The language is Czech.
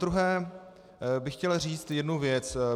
Zadruhé bych chtěl říct jednu věc.